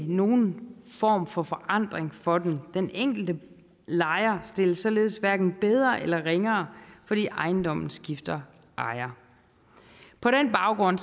nogen form for forandring for dem den enkelte lejer stilles således hverken bedre eller ringere fordi ejendommen skifter ejer på den baggrund